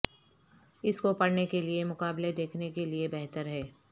اس کو پڑھنے کے لئے کے مقابلے دیکھنے کے لئے بہتر ہے